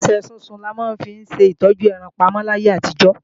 Nípasẹ̀ sísun là máa ń fi ṣe ìtọ́jú ẹran pamọ́ láyé àtijó.